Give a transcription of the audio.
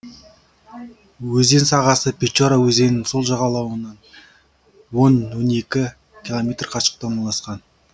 өзен сағасы печора өзенінің сол жағалауынан он он екі километр қашықтықта орналасқан